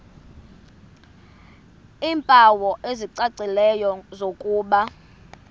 iimpawu ezicacileyo zokuba